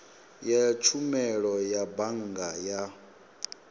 ya tshumelo ya bannga ya